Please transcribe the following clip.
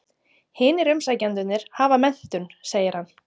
Hinir umsækjendurnir hafa menntun, segir hann.